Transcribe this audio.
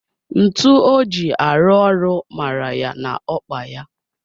Ntu o ji arụ ọrụ mara ya n'okpa ya